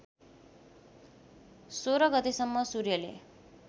१६ गतेसम्म सूर्यले